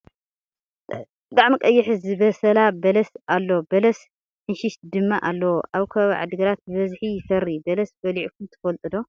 ብጣዕሚ ቀይሕ ዝበሰላ በላስ ኣሎ በለስ ሕንሽሽ ድማ ኣለዎ ።ኣብ ከባቢ ዓዲግራት ብበዝሒ ይፈሪ ። በለስ በሊዕኩም ትፈልጡ ዶ ?